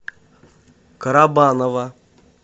карабаново